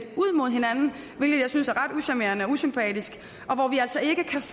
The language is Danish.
ud mod hinanden hvilket jeg synes er ret ucharmerende og usympatisk